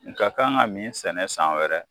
N ka kan ka min sɛnɛ san wɛrɛ